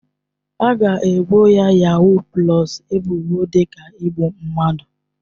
A ga-ebo yahuu pụlọs ebubo dị ka igbu mmadụ.